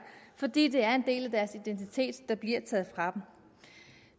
fordi det er en del af deres identitet der bliver taget fra